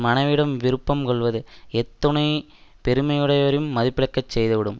மனைவியிடம் விருப்பம் கொள்வது எத்துணைப் பெருமையுடையவரையும் மதிப்பிழக்கச் செய்துவிடும்